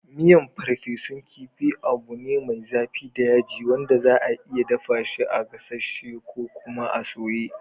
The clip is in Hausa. Miyan farfesun kifi abu ne mai zafi da yaji wanda za'a iya dafa shi a gasasshi ko kuma a soya.